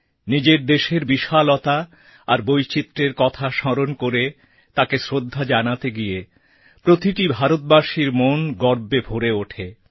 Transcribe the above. নিজের দেশের বিশালতা আর বৈচিত্র্যের কথা স্মরণ করে তাকে শ্রদ্ধা জানাতে গিয়ে প্রতিটি ভারতীয়ের মন গর্বে ভরে ওঠে